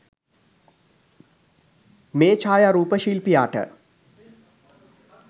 මේ ඡායාරූප ශිල්පියාට